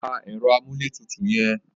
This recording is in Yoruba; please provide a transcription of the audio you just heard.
Pa ẹ̀rọ amúlétutù yẹn.